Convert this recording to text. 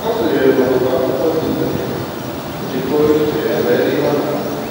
Ọ sonyere na otu otu akwụkwọ dị n'ịntanet iji kọọ echiche ya banyere ihe ọ na-agụ